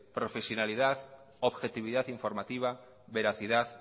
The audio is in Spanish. profesionalidad objetividad informativa veracidad